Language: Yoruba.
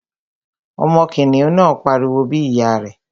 Ọmọ kìnìún náà pariwo bí ìyá rẹ̀